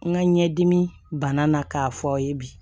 N ka ɲɛdimi banna k'a fɔ aw ye bi